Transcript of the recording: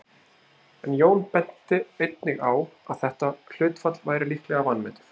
En Jón benti einnig á að þetta hlutfall væri líklega vanmetið.